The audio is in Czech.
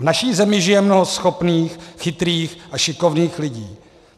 V naší zemi žije mnoho schopných, chytrých a šikovných lidí.